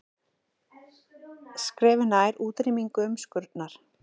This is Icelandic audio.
Skrefi nær útrýmingu umskurnar